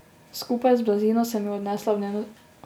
Skupaj z blazino sem jo nesla v dnevno sobo.